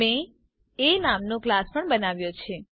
મેં એ નામનો ક્લાસ પણ બનાવ્યો છે